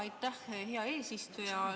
Aitäh, hea eesistuja!